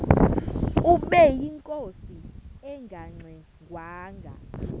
ubeyinkosi engangxe ngwanga